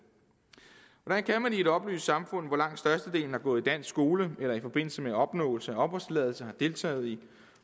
hvordan kan man i et oplyst samfund hvor langt størstedelen har gået i dansk skole eller i forbindelse med opnåelse af opholdstilladelse har deltaget i